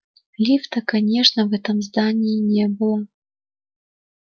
лифта конечно в этом здании не было